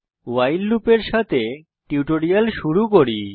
ভাইল লুপের সাথে টিউটোরিয়াল শুরু করি